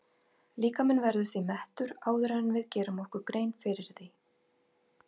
Líkaminn verður því mettur áður en við gerum okkur grein fyrir því.